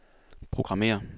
programmér